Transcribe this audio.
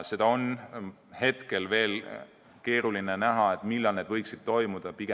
Seda on veel keeruline ennustada, millal need võiksid toimuda.